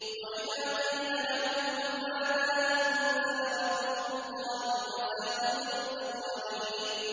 وَإِذَا قِيلَ لَهُم مَّاذَا أَنزَلَ رَبُّكُمْ ۙ قَالُوا أَسَاطِيرُ الْأَوَّلِينَ